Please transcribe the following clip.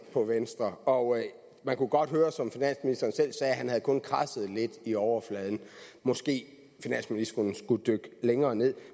på venstre og man kunne godt høre som finansministeren selv sagde at han kun havde kradset lidt i overfladen måske finansministeren skulle dykke længere nederst